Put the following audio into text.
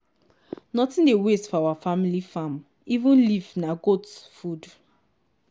nothing dey waste for our family farmeven leave na goat food